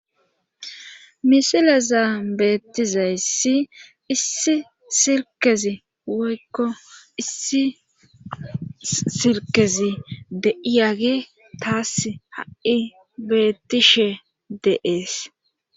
Misilezaan beettizayssi issi sirkezi woykko issi sirkezi deiyage taas ha7i bettishe deees